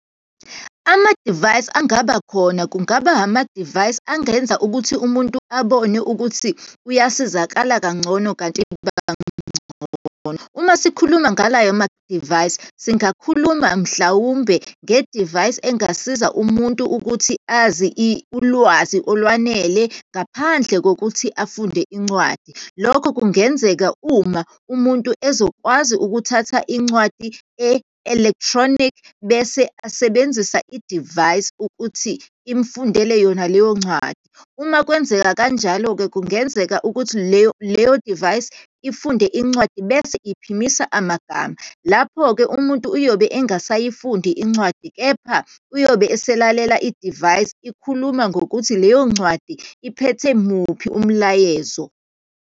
Amadivayisi angaba khona, kungaba amadivayisi angenza ukuthi umuntu abone ukuthi uyasizakala kangcono, kanti bangcono. Uma sikhuluma ngalayo madivayisi, singakhuluma, mhlawumbe ngedivayisi engasiza umuntu ukuthi azi ulwazi olwanele ngaphandle kokuthi afunde incwadi. Lokho kungenzeka uma umuntu ezokwazi ukuthatha incwadi e-electronic bese asebenzisa idivayisi ukuthi imfundele yona leyo ncwadi. Uma kwenzeka kanjalo-ke, kungenzeka ukuthi leyo, leyo divayisi ifunde incwadi bese iphimisa amagama. Lapho-ke umuntu uyobe engasayifundi incwadi, kepha uyobe eselalela idivayisi, ikhuluma ngokuthi leyo ncwadi iphethe muphi umlayezo.